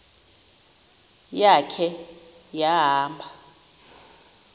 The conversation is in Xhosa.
ya khe wahamba